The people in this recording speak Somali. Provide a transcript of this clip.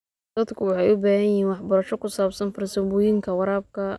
Dadku waxay u baahan yihiin waxbarasho ku saabsan farsamooyinka waraabka.